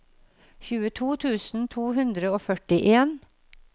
tjueto tusen to hundre og førtien